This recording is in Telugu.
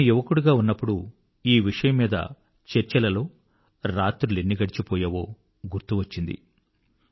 నేను యువకునిగా ఉన్నప్పుడు ఈ విషయంమీద చర్చలలో రాత్రులెన్ని గడచిపోయేవో గుర్తు వచ్చింది